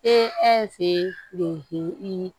E fe i